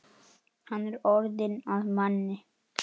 Hann er orðinn að manni.